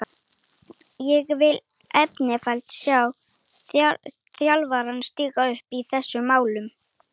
Ég vil einfaldlega sjá þjálfarana stíga upp í þessum málum.